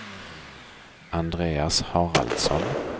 Andreas Haraldsson